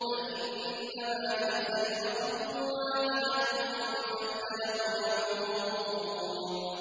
فَإِنَّمَا هِيَ زَجْرَةٌ وَاحِدَةٌ فَإِذَا هُمْ يَنظُرُونَ